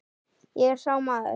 Ég er sá maður.